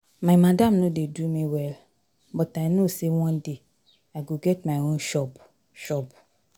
My madam no dey do me well but I know sey one day I go get my own shop. shop.